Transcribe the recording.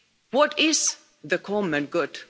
What is the common good?